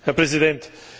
Herr Präsident!